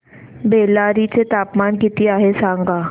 बेल्लारी चे तापमान किती आहे सांगा